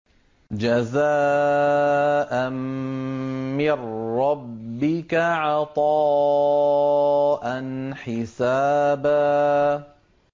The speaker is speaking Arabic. جَزَاءً مِّن رَّبِّكَ عَطَاءً حِسَابًا